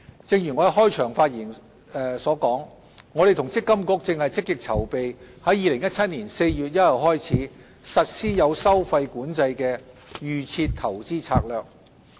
正如我在開場發言所說，我們與積金局正積極籌備於2017年4月1日起，實施有收費管制的"預設投資策略"。